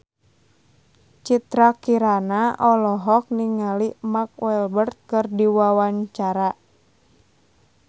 Citra Kirana olohok ningali Mark Walberg keur diwawancara